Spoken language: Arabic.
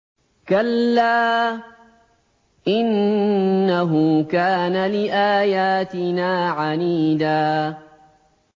كَلَّا ۖ إِنَّهُ كَانَ لِآيَاتِنَا عَنِيدًا